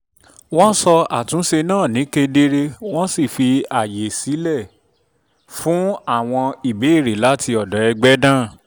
wọ́n sọ àtúnṣe náà ní kedere wọ́n sì fi àkókò sílẹ̀ fún àwọn ìbéèrè láti ọ̀dọ̀ ẹgbẹ́ náà